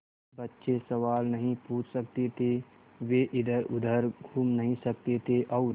बच्चे सवाल नहीं पूछ सकते थे वे इधरउधर घूम नहीं सकते थे और